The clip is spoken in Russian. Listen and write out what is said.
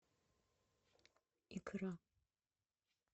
икра